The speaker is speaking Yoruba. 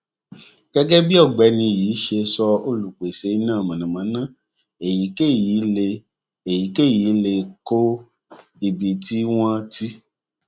gégé bí ògbéni yìí ṣe sọ olùpèsè iná mànàmáná èyíkéyìí lè èyíkéyìí lè kó ibi tí wón ti